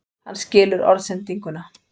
Hann skilur orðsendinguna.